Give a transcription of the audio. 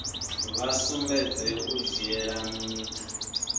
vha sumbedze u dzhiela ntha